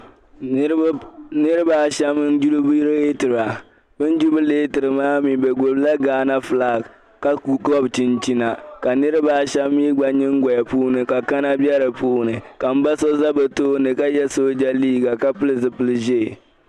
Niriba a shɛm jubili leetira bɛ jubili leetira maa mi bɛ gbubila Ghana filaŋ ka gɔbi chinchina niriba shɛm mi nyingoli puuni ka kana bɛ di puuni ka m ba so za bɛ tooni ka ye sooja liiga ka pili zupil'ʒee .